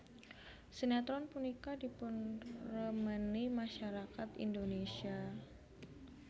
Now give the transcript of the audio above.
Sinétron punika dipunremeni masyarakat Indonésia